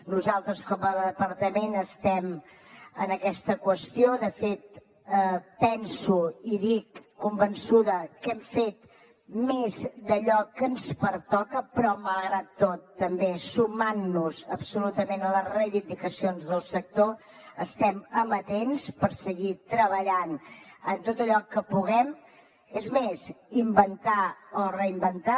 nosaltres com a departament estem en aquesta qüestió de fet penso i ho dic convençuda que hem fet més d’allò que ens pertoca però malgrat tot també sumant nos absolutament a les reivindicacions del sector estem amatents a seguir treballant en tot allò que puguem és més a inventar o reinventar